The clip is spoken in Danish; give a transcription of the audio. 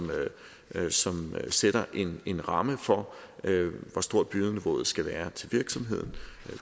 som sætter en ramme for hvor stort bødeniveauet skal være til virksomheden